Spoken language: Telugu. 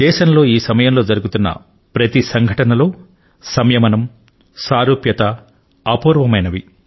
దేశంలో ఈ సమయంలో జరుగుతున్న ప్రతి సంఘటనలో సంయమనం సారళ్యత అపూర్వమైనవి